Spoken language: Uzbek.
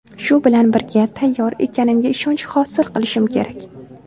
Shu bilan birga tayyor ekanimga ishonch hosil qilishim kerak.